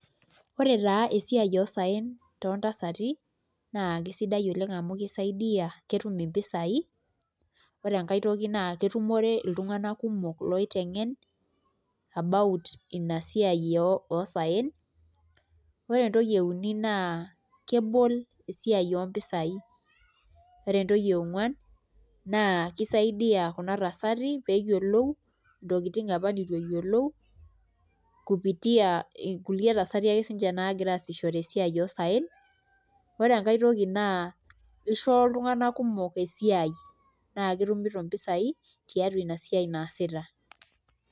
Ore taa esiai oosaen toontasati amu kisaidia ketum mpisaai ore enkae toki naa ketum iltung'anak kumok niteng'en about ina siai oosaen ore entoki euni naa kebol esiai oompisaai ore entoki e ongwan naa kisaidia kuna tasati pee eyiolou ntokitin apa nitu eyiolou kupitia kulie tasaki ake naagira aasishore eisiai oosaen, ore enkae toki naa ishoo iltung'anak kumok esiai naa ketumito mpisaai tiatua ina siai naasita.